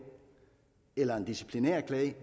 eller en disciplinærklage